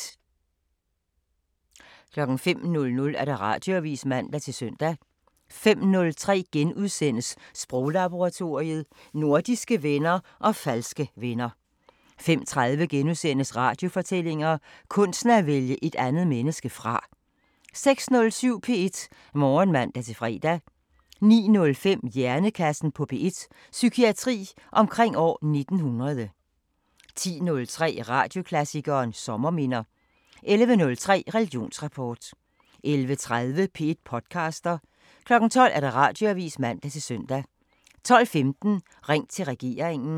05:00: Radioavisen (man-søn) 05:03: Sproglaboratoriet: Nordiske venner og falske venner * 05:30: Radiofortællinger: Kunsten at vælge et andet menneske fra * 06:07: P1 Morgen (man-fre) 09:05: Hjernekassen på P1: Psykiatri omkring år 1900 10:03: Radioklassikeren: Sommerminder 11:03: Religionsrapport 11:30: P1 podcaster 12:00: Radioavisen (man-søn) 12:15: Ring til regeringen